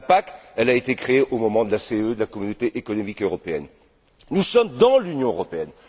La PAC a été créée au moment de la CEE, de la Communauté économique européenne. Nous sommes dans l'Union européenne.